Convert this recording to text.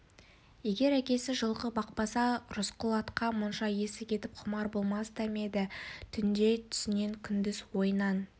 егер әкесі жылқы бақпаса рысқұл атқа мұнша есі кетіп құмар болмас та ма еді түнде түсінен күндіз ойынан